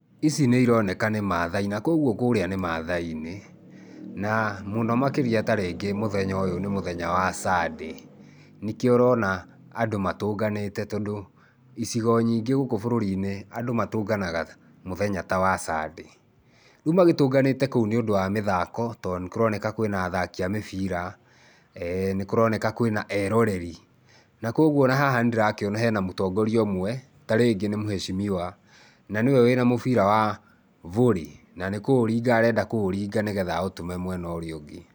Ici nĩ ironeka nĩ Maathai ,na kwoguo kurĩa nĩ Maathai-inĩ, na mũno makĩria ta rĩngĩ mũthenya ũyũ nĩ mũthenya wa Sunday. Nĩkĩo ũrona andũ matũnganĩte, tondũ icigo nyingĩ gũkũ bũrũri-inĩ, andũ matũnganaga mũthenya ta wa Sunday. Rĩu magĩtũnganĩte kũu nĩũndũ wa mĩthako to nĩ kũroneka kwĩna athaki a mĩbira, eh nĩ kũroneka kwĩna eroreri. Na kwoguo o na haha nĩ ndĩrakĩona hena mũtongoria ũmwe ta rĩngĩ nĩ muheshimiwa, na nĩwe wĩna mũbira wa volley, na nĩ kũũringa arenda kũũringa nĩgetha aũtũme mwena ũrĩa ũngĩ.